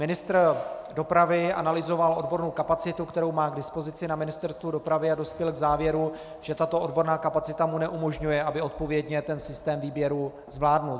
Ministr dopravy analyzoval odbornou kapacitu, kterou má k dispozici na Ministerstvu dopravy, a dospěl k závěru, že tato odborná kapacita mu neumožňuje, aby odpovědně ten systém výběru zvládl.